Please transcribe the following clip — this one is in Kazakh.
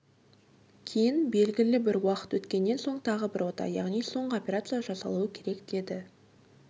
кейін белгілі бір уақыт өткеннен соң тағы бір ота яғни соңғы операция жасалуы керек деді